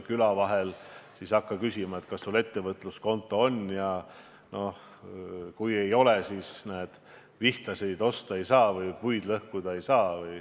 Küla vahel sa ei hakka ju küsima, kas sul ettevõtluskonto on, ja kui ei ole, siis vihtasid osta või puid lõhkuda ei saa.